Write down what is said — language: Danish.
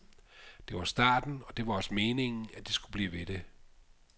Det var starten, og det var også meningen, at det skulle blive ved det.